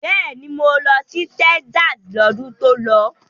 Bẹ́ẹ̀ni, mo lọ sí Texas lọ́dún tó lọ.